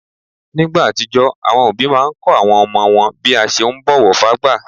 Nígbà àtijó, àwọn òbí máa n kọ́ àwọn ọmọ wọn bí a ṣe ún bọ̀wọ̀ fágbà